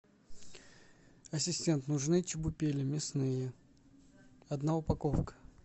ассистент нужны чебупели мясные одна упаковка